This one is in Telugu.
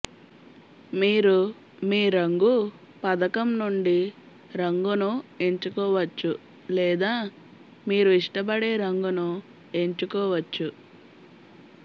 మీరు మీ రంగు పథకం నుండి రంగును ఎంచుకోవచ్చు లేదా మీరు ఇష్టపడే రంగును ఎంచుకోవచ్చు